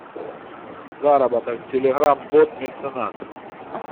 заработок телеграм бот меценат